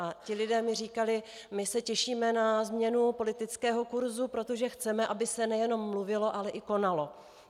A ti lidé mi říkali: "My se těšíme na změnu politického kurzu, protože chceme, aby se nejenom mluvilo, ale i konalo."